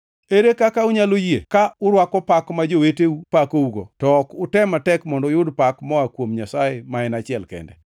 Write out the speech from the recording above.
Ere kaka unyalo yie ka urwako pak ma joweteu pakougo, to ok utem matek mondo uyud pak moa kuom Nyasaye ma achiel kende?